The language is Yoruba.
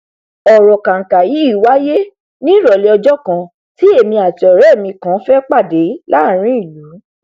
ọrọ kànkà yí wáíyé ní ìrọlẹ ọjọ kan tí èmi àti ọrẹ mi kan fẹ pàdé láàrin ìlú